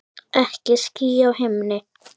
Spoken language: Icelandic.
Ekki ský á himni.